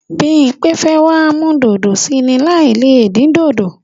Bímpé fẹ́ wá mú dòdò sí í ni láì le dín dòdò.